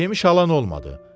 Yemiş alan olmadı.